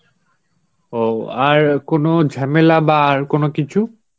ও আর কোনো ঝামেলা বাহঃ আর কোনো কিছু?